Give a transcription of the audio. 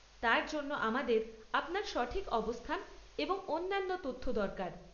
তার জন্য আমাদের আপনার সঠিক অবস্থান এবং অন্যান্য তথ্য দরকার।